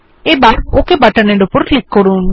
এবার ওক বাটনের উপর ক্লিক করুন